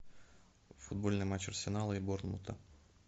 футбольный матч арсенала и борнмута